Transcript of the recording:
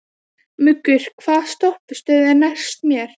Muggur, hvaða stoppistöð er næst mér?